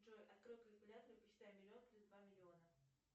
джой открой калькулятор и посчитай миллион плюс два миллиона